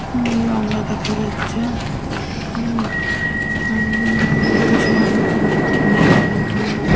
হুম গঙ্গা দেখা যাচ্ছে। হুম মেঘ মত রয়ে--